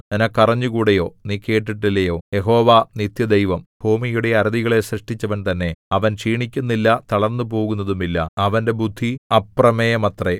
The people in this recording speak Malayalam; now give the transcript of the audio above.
നിനക്കറിഞ്ഞുകൂടായോ നീ കേട്ടിട്ടില്ലയോ യഹോവ നിത്യദൈവം ഭൂമിയുടെ അറുതികളെ സൃഷ്ടിച്ചവൻ തന്നെ അവൻ ക്ഷീണിക്കുന്നില്ല തളർന്നുപോകുന്നതുമില്ല അവന്റെ ബുദ്ധി അപ്രമേയമത്രേ